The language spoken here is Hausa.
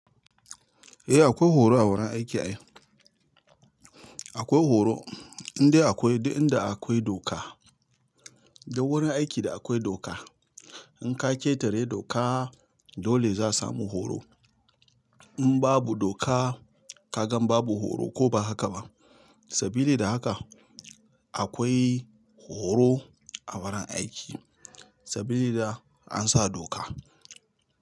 Eh akwai horo a wurin aiki ai. Akwai horo inde akwai duk inda akwai doka. Duk wurin aiki da akwai doka, in ka ƙetare doka dole za su samu horo. In babu doka ka gan babu horo ko ba haka ba. Sabili da haka akwai horo a wurin aiki sabili da an sa doka.